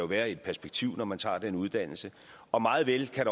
være et perspektiv når man tager en uddannelse og meget vel kan